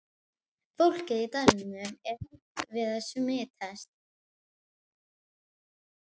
Fólkið í dalnum er hrætt við að smitast.